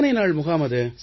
எத்தனை நாள் முகாம் அது